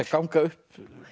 ganga upp